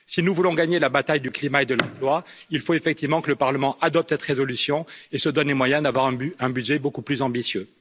Si nous voulons gagner la bataille du climat et de l'emploi, il faut effectivement que le Parlement adopte cette résolution et se donne les moyens d'avoir un budget beaucoup plus ambitieux.